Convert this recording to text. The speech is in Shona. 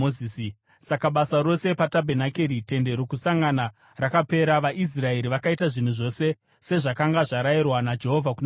Saka basa rose patabhenakeri, Tende Rokusangana, rakapera. VaIsraeri vakaita zvinhu zvose sezvakanga zvarayirwa naJehovha kuna Mozisi.